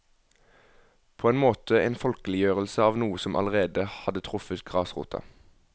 På en måte en folkeliggjørelse av noe som allerede hadde truffet grasrota.